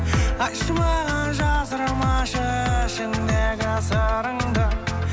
айтшы маған жасырмашы ішіңдегі сырыңды